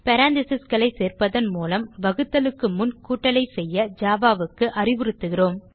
parenthesesகளை சேர்ப்பதன் மூலம் வகுத்தலுக்கு முன் கூட்டலை செய்ய ஜாவா க்கு அறிவுறுத்துகிறோம்